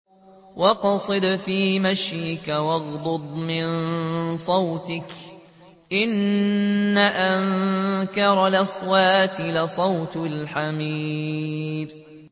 وَاقْصِدْ فِي مَشْيِكَ وَاغْضُضْ مِن صَوْتِكَ ۚ إِنَّ أَنكَرَ الْأَصْوَاتِ لَصَوْتُ الْحَمِيرِ